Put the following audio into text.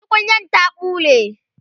tukunyar ta ɓule